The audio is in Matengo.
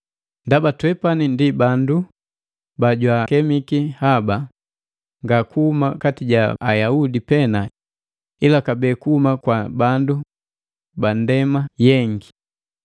Ndaba twepani ndi bandu bajwaakemiki haba, nga kuhuma kati ja Ayaudi pena ila kabee kuhuma kwa bandu bandema yaka.